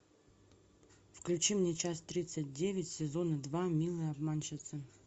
включи мне часть тридцать девять сезон два милые обманщицы